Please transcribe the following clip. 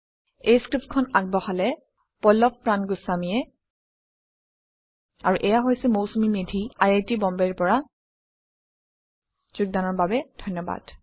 এই স্ক্ৰীপ্তটো আগবঢ়ালে পল্লভ প্ৰান গোস্ৱামীয়ে আৰু এয়া আছিল Mousumi Medhi I I T বম্বেৰ পৰা অংশগ্ৰহণৰ বাবে ধন্যবাদ